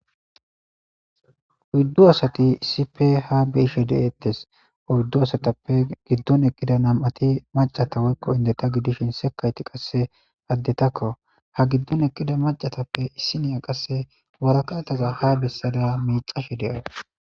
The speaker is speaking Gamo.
Huyddu asati issipe ha beishe de7ettes udddu asatappe giddon eqqida nam7ati macata woykko indeta gidishin sekayti qasse addetakko ha giddon eqqida macatappe issiniya qasse warakataza ha bessada miicashe de7a.